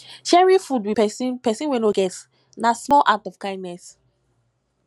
sharing your food with person person wey no get na small act of kindness